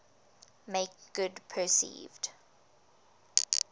make good perceived